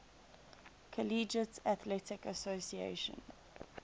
collegiate athletic association